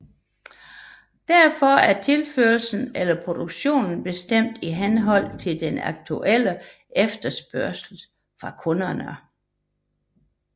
Derfor er tilførslen eller produktionen bestemt i henhold til den aktuelle efterspørgsel fra kunderne